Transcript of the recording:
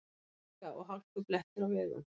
Hálka og hálkublettir á vegum